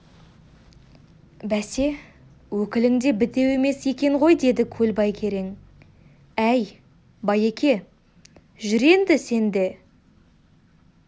бәсе өкілің де бітеу емес екен ғой деді көлбай керең әй байеке жүр енді сен де